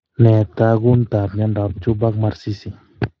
Nee taakuntaab myondap Juberg Marsisi?